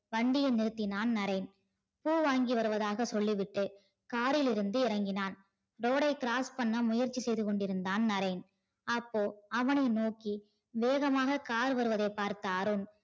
வண்டியை நிறுத்தினான் நரேன். பூ வாங்கி வருவதாக சொல்லிவிட்டு car இருந்து இறங்கினார். road ஐ cross பண்ண முயற்சி செய்து கொண்டு இருந்தான் நரேன். அப்போ அவனை நோக்கி வேகமாக car வருவதை பார்த்த அருண்